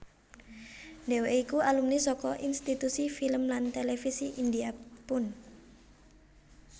Dheweké iku alumni saka Institusi Film lan Televisi India Pune